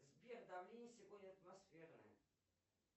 сбер давление сегодня атмосферное